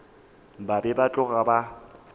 ba be ba tloga ba